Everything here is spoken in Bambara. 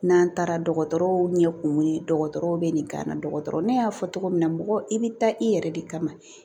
N'an taara dɔgɔtɔrɔw ɲɛkun ye dɔgɔtɔrɔw bɛ nin gana dɔgɔtɔrɔ ne y'a fɔ cogo min na mɔgɔ i bɛ taa i yɛrɛ de kama